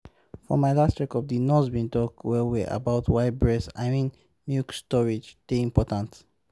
ehm for my last checkup the nurse been talk well-well about why breast i mean milk storage dey important